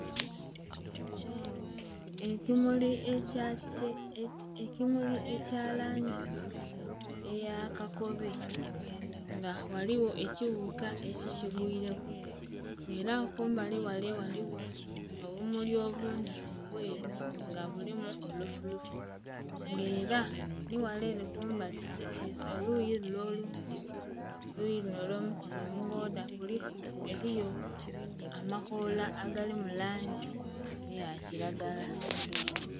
Ekimuli ekya kye ekimuli ekya langi eya kakobe nga eriyo ekighuka eki kigworeku nha era kumbali ghale ghaligho obumuli obundhi obweru nga bulimu olufu lufu nga era nhi ghale ere kumbali oluyi lule olundhi oluyi lunho olwo mikono omugedha eriyo amakoola agali mu langi eya kilagala.